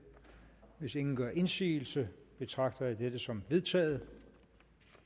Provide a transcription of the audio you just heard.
hvis ingen gør indsigelse betragter jeg dette som vedtaget